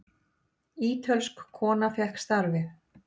Ítölsk kona fékk starfið.